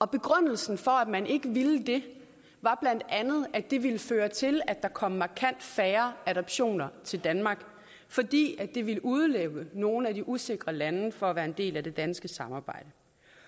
begrundelsen for at man ikke ville det var bla at det ville føre til at der kom markant færre adoptioner til danmark fordi det ville udelukke nogle af de usikre lande fra at være en del af det danske samarbejde